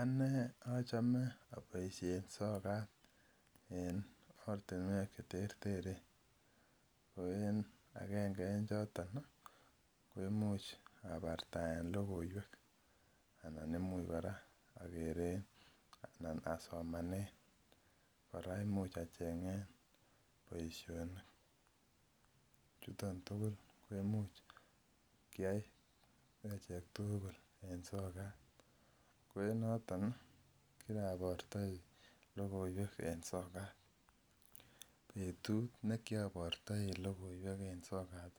Anee achome oboishen sokat en ortinwek cheterteren, ko en akenge en choton ko imuch abartaen lokoiwek anan imuch kora okere anan asomanen, kora imuch asomanen boishonik, chuton tukul ko imuch keyai tukul en sokat, ko enoton kirabortoi lokoiwek en sokat, betut nekiobortoi lokoiwek en sokat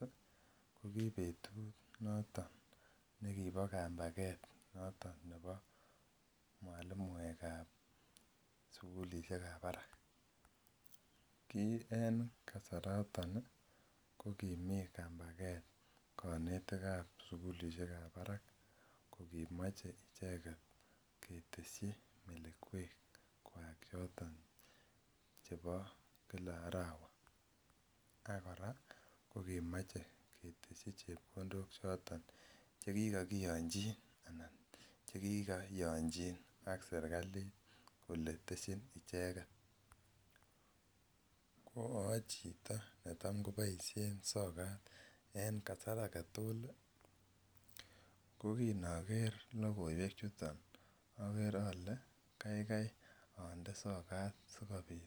ko kibetut noton nekibo kambaket noton nebo mwalimuekab sukulishekab barak, kii en kasaraton ko kimii kambaket konetikab sukulishekab barak ko kimoche icheket keteshi icheket melekwekwak choton chebo kila arawa ak kora ko kimoche keteshi chepkondok choton chekikokiyonchin anan chekikoyonchin ak serikalit kolee teshin icheket, ko ochito netam koboishen sokat en kasar aketukul ko kinoker lokoiwe chuton aker olee kaikai onde sokat sikobiit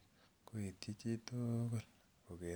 koityi chitukul koker.